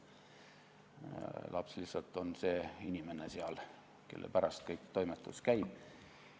Laps lihtsalt on see inimene seal, kelle pärast kogu toimetus käib.